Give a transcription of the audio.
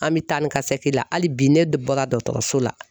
An mi taa ni ka segin la hali bi ne bɔra dɔtɔrɔso la.